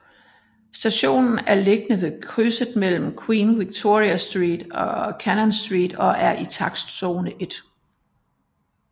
Stationen er beliggende ved krydset mellem Queen Victoria Street og Cannon Street og er i takstzone 1